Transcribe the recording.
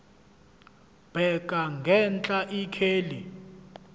bheka ngenhla ikheli